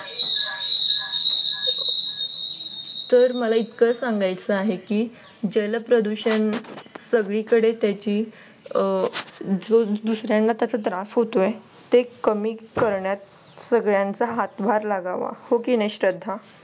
तर मला इतकं सांगायचं आहे की जलप्रदूषण सगळीकडे त्याची जो दुसऱ्यांना त्याचा त्रास होतो आहे. ते कमी करण्यात सगळ्यांचा हातभार लागावा हो की नाही श्रद्धा?